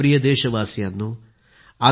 माझ्या प्रिय देशवासियांनो